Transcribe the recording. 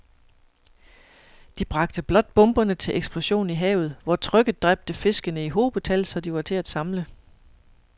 De bragte blot bomberne til eksplosion i havet, hvor trykket dræbte fiskene i hobetal, så de var til at samle